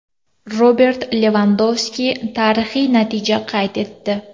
Robert Levandovski tarixiy natija qayd etdi.